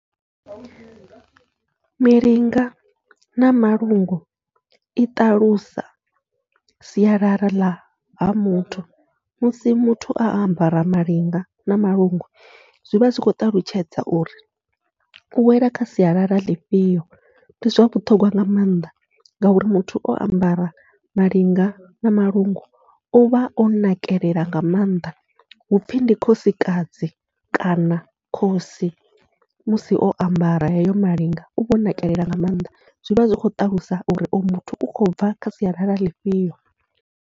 Milinga na malungu i ṱalusa siyalala ḽa ha muthu, musi muthu o ambara malinga na malungu zwivha zwi khou ṱalutshedza uri u wela kha sialala ḽifhio ndi zwa vhuṱhogwa nga maanḓa, ngauri muthu o ambara malinga na malungu uvha o nakelela nga maanḓa, hupfhi ndi khosikadzi kana khosi musi o ambara heyo malinga uvha o nakelela nga maanḓa, zwivha zwi khou ṱalusa uri uyo muthu u khou bva kha sialala ḽifhio.